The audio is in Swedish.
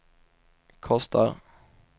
kostar